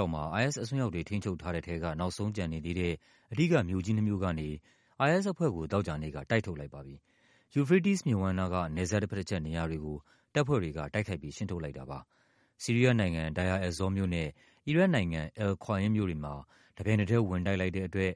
ောက်မှာ IS အစွန်းရောက်တွေ ထိန်းချုပ်ထားတဲ့ထဲက နောက်ဆုံးကျန်နေသေးတဲ့ အဓိက မြို့ကြီးနှစ်မြို့ကနေ IS အဖွဲ့ကို သောကြာနေ့က တိုက်ထုတ်လိုက်ပါပြီ။ ယူဖရေးတီးစ်မြစ်ဝှမ်းနားက နယ်စပ်တဘက်တချက် နေရာတွေကို တပ်ဖွဲ့တွေက တိုက်ခိုက်ပြီး ရှင်းထုတ်လိုက်တာပါ။ ဆီးရီးယားနိုင်ငံ၊ Deir Ezzor မြို့နဲ့ အီရတ်နိုင်ငံ၊ Al-Qaim မြို့တွေမှာ တပြိုင်နက်ထဲ ဝင်တိုက်လိုက်တဲ့အတွက်